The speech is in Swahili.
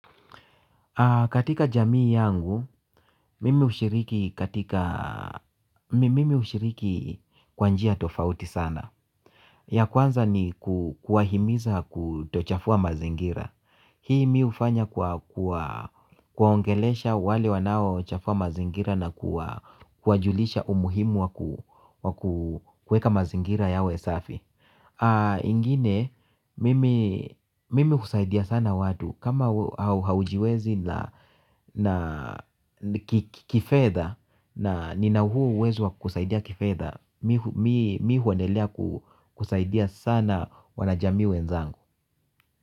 Katika jamii yangu, mimi hushiriki kwa njia tofauti sana. Ya kwanza ni kuwahimiza kutochafua mazingira. Hii mimi hufanya kwa kuwaongelesha wale wanao chafua mazingira na kuwajulisha umuhimu wa kueka mazingira yawe safi. Ingine, mimi kusaidia sana watu kama haujiwezi kifedha. Na nina huu uwezo wa kusaidia kifedha. Mi huendelea kusaidia sana wana jamii wenzangu.